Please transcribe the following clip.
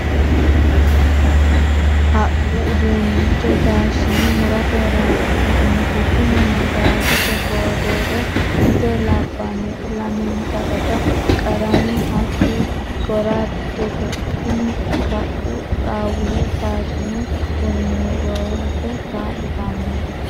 Haqqu uduunicho taashine murate horonsi'nannite tini magazete boodere ise labbanoti lamenka raga qarame hati goradete tini kaqu xawula taashine murimurate kaa'littanote.